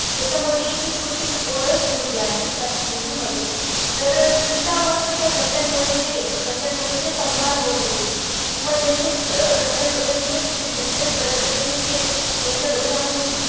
त्याच्यामध्ये जी एक छोटीशी गोंडस मुलगी आहे, त्या movie मध्ये तर तिच्यावर तिच्या घरच्यांमध्ये जे घरच्यांमध्ये जे संवाद होतं होते किंवा त्यांचे अं घरच्यांबद्दल जे business बद्दलचे जे त्यांच्या डोक्यामधे जे